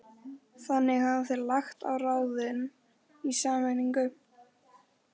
Þannig hafa þeir lagt á ráðin í sameiningu